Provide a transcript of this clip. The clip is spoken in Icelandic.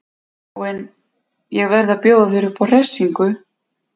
Já en. ég verð að fá að bjóða þér upp á hressingu!